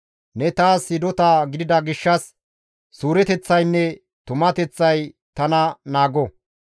Ne taas hidota gidida gishshas suureteththaynne tumateththay tana naago.